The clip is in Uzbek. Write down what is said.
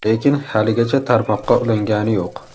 Lekin haligacha tarmoqqa ulangani yo‘q.